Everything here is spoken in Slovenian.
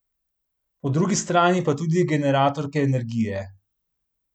Po drugi strani so tudi generatorke energije.